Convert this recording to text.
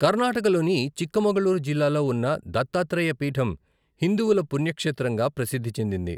కర్నాటకలోని చిక్కమగళూరు జిల్లాలో ఉన్న దత్తాత్రేయ పీఠం హిందువుల పుణ్యక్షేత్రంగా ప్రసిద్ధి చెందింది.